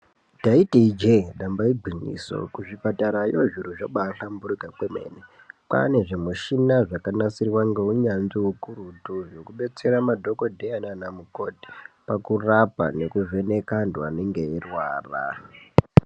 Ndaiti ijee damba igwinyiso kuzvipatarayo zviro zvabahlamburika kwemene pane zvimushina zvakanasiriwa ngeunyanzvi hwekuretu zvekubetsera madhokodheya nanamukoti pakurapa nekuvheneka vantu vanenga veirwara.